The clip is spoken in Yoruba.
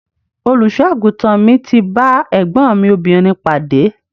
Olùṣọ àgùntàn mi ti ba ẹgbọn mi obìnrin pade.